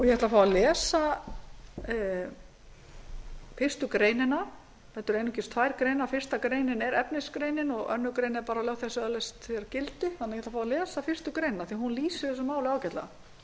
ég ætla þá að lesa fyrstu grein þetta eru einungis tvær greinar fyrstu grein er efnisgreinin og aðra grein er bara lög þessi öðlast þegar gildi ég ætla að fá að lesa fyrstu grein því hún lýsir þessu máli ágætlega